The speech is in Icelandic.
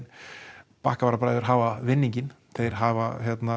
Bakkavararbræður hafa vinninginn þeir hafa